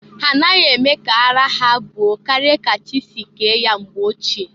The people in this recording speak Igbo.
Ha anaghị eme ka araa ha buo karịa ka chị si ke ya mgbe ochie.